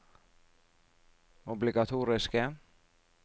obligatoriske